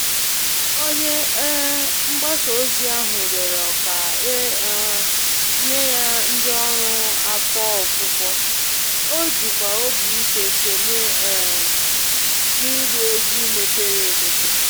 Onye um mgbasa ozi ahụ rịọrọ ka e um nye ya ndị ọrụ afọ ofufo, o jikwa obi ike sonye um n'agba egwú mepere emepe